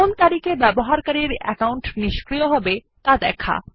কোন তারিখে ব্যবহারকারীর অ্যাকাউন্ট নিষ্ক্রিয়হবে ত়া দেখায়